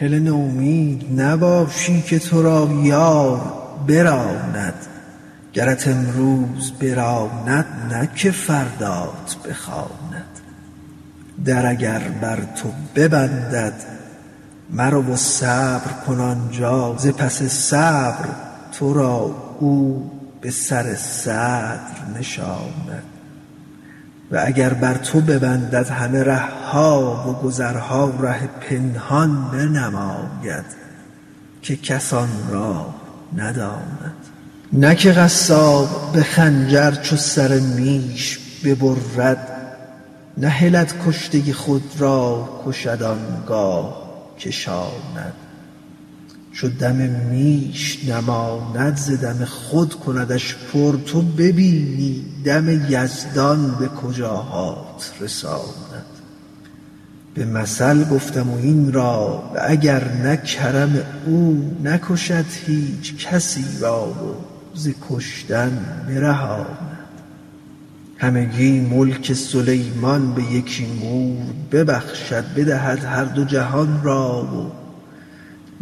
هله نومید نباشی که تو را یار براند گرت امروز براند نه که فردات بخواند در اگر بر تو ببندد مرو و صبر کن آن جا ز پس صبر تو را او به سر صدر نشاند و اگر بر تو ببندد همه ره ها و گذرها ره پنهان بنماید که کس آن راه نداند نه که قصاب به خنجر چو سر میش ببرد نهلد کشته خود را کشد آن گاه کشاند چو دم میش نماند ز دم خود کندش پر تو ببینی دم یزدان به کجاهات رساند به مثل گفته ام این را و اگر نه کرم او نکشد هیچ کسی را و ز کشتن برهاند همگی ملک سلیمان به یکی مور ببخشد بدهد هر دو جهان را و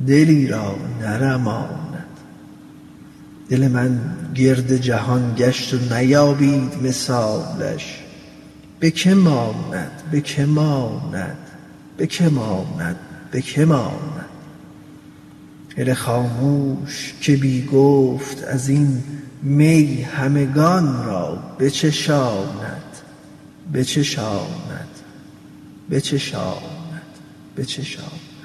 دلی را نرماند دل من گرد جهان گشت و نیابید مثالش به که ماند به که ماند به که ماند به که ماند هله خاموش که بی گفت از این می همگان را بچشاند بچشاند بچشاند بچشاند